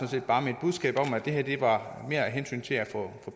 set bare mit budskab om at det her mere var af hensyn til at få